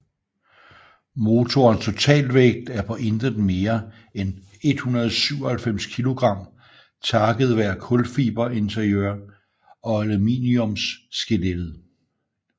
Motorens totaltvægt er på intet mere ind 197 kilogram takket være kulfiber interiør og aluminiums skellettet